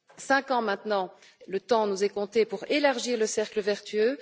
Cinq ans maintenant, le temps nous est compté pour élargir le cercle vertueux.